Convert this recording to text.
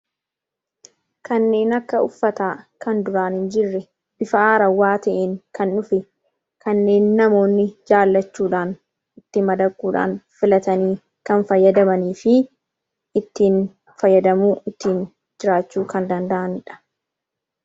Kanneen akka uffataa kan duraan hin jirre, bifa haarawaa ta'een kan dhufe Fi kanneen namoonni jaalachuudhaan itti madaquudhaan filatanii fayyadamanii fi ittiin fayyadamee jiraachuu kan danda'anidha.